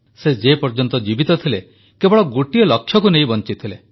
ସେ ଯେପର୍ଯ୍ୟନ୍ତ ଜୀବିତ ଥିଲେ କେବଳ ଗୋଟିଏ ଲକ୍ଷ୍ୟକୁ ନେଇ ବଂଚିଥିଲେ